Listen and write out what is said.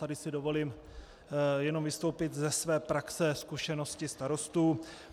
Tady si dovolím jenom vystoupit ze své praxe zkušenosti starostů.